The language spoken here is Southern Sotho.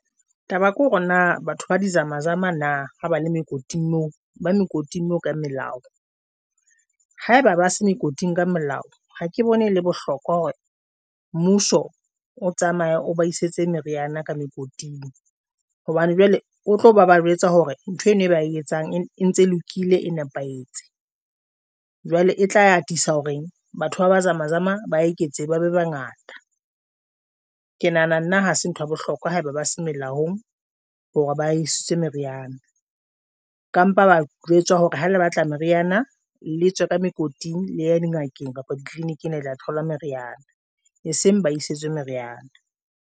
Taba ke hore na batho ba dizamazama na ha ba le mekoting moo ba mekoting mme o ka melao ha eba ba se mekoting ka molao. Ha ke bone ho le bohlokwa hore mmuso o tsamaye o ba isetse meriana ka mokoting hobane jwale o tlo ba ba jwetsa hore ntho eno e ba etsang e ntse lokile e nepahetse, jwale e tla a atisa horeng. Batho ba ba zamezama ba e ke tsebe ba bangata. Ke nahana nna ha se ntho ya bohlokwa ha eba ba se melaong hore ba isitswe meriana ka mpha, ba jwetswa hore ha le batla meriana, le tswe ka mekoting le ya dingakeng kapa ditleliniking la thola meriana e seng ba isitswe meriana.